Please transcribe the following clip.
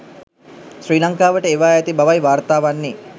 ශ්‍රී ලංකාවට එවා ඇති බවයි වාර්තා වන්නේ.